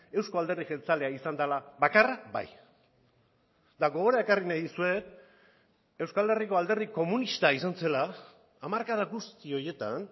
euzko alderdi jeltzalea izan dela bakarra bai eta gogora ekarri nahi dizuet euskal herriko alderdi komunista izan zela hamarkada guzti horietan